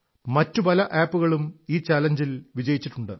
മറ്റു പല ആപ് കളും ഈ ചലഞ്ചിൽ വിജയിച്ചിട്ടുണ്ട്